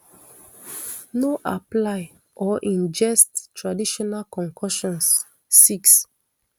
no apply or ingest traditional concoctions six